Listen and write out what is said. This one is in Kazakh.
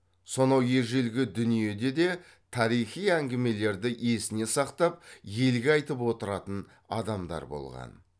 сонау ежелгі дүниеде де тарихи әңгімелерді есіне сақтап елге айтып отыратын адамдар болған